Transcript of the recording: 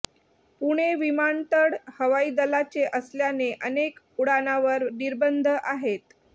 पुणे विमानतळ हवाई दलाचे असल्याने अनेक उड्डाणांवर निर्बंध आहेत